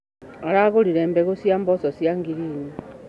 Aragũrire mbegũ cia mboco cia ngirini.